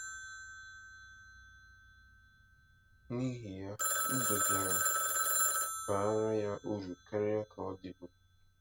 N’ihi ya, ndụ bịara baara ya uru karịa ka ọ dịbu.